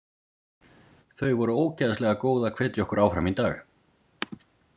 Þau voru ógeðslega góð að hvetja okkur áfram í dag.